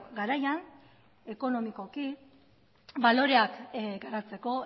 garaian ekonomikoki baloreak garatzeko